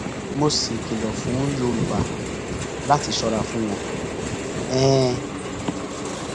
mo sì kìlọ fún yorùbá láti ṣọra fún wọn um